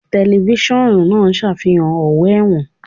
Tẹlifíṣọ̀n náà ń ṣàfihàn ọ̀wọ́ ẹ̀wọ̀n